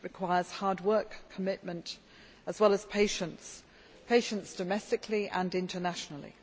It requires hard work, commitment, as well as patience patience domestically and internationally.